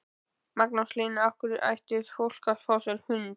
Magnús Hlynur: Af hverju ætti fólk að fá sér hund?